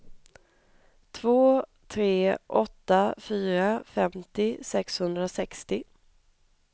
två tre åtta fyra femtio sexhundrasextio